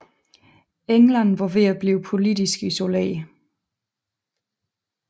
England var ved at blive politisk isoleret